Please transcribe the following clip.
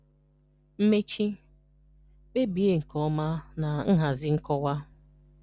Mmechi: Kpebie nke ọma na nhazị nkọwa.